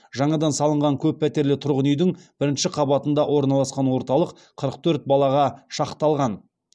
жаңадан салынған көп пәтерлі тұрғын үйдің бірінші қабатында орналасқан орталық қырық төрт балаға шақталған